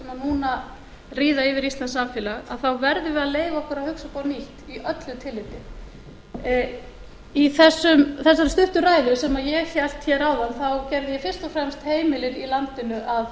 núna ríða yfir íslenskt samfélag verðum við að leyfa okkur að hugsa upp á nýtt í öllu tilliti í þessari stuttu ræðu sem ég hélt hér áðan gerði ég fyrst og fremst heimilin í landinu að